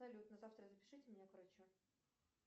салют на завтра запишите меня к врачу